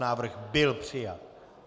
Návrh byl přijat.